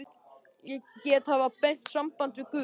Ég get haft beint samband við guð.